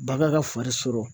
Bagan ka fari sɔrɔ